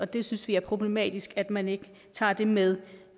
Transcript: det synes vi er problematisk at man ikke tager det med